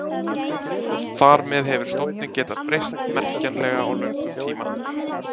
Þar með hefur stofninn getað breyst merkjanlega á löngum tíma.